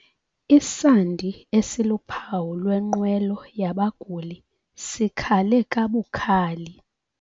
Isandi esiluphawu lwenqwelo yabaguli sikhale kabukhali.